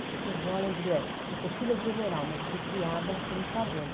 As pessoas olham e digo, é, eu sou filha de general, mas eu fui criada por um sargento.